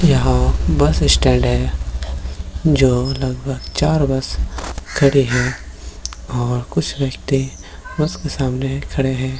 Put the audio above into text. यहाँ bus stand है जो लगभग चार बस खड़ी है और कुछ व्यक्ति बस के सामने खड़े है |